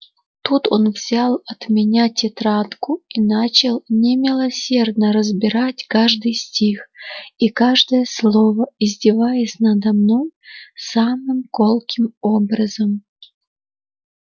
тут он взял от меня тетрадку и начал немилосердно разбирать каждый стих и каждое слово издеваясь надо мной самым колким образом